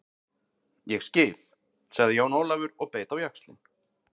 Ég skil, sagði Jón Ólafur og beit á jaxlinn.